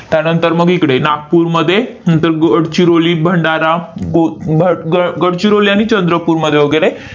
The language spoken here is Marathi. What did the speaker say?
त्यानंतर मग इकडे, नागपूरमध्ये नंतर गडचिरोली, भंडारा, गो भ ग गडचिरोली आणि चंद्रपूरमध्ये वगैरे